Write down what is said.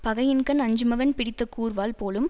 பகையின்கண் அஞ்சுமவன் பிடித்த கூர்வாள் போலும்